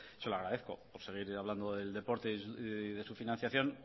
se lo agradezco por seguir hablando del deporte y su financiación